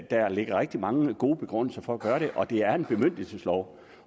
der ligger rigtig mange gode begrundelser for at gøre det og det er en bemyndigelseslov